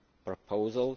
proposal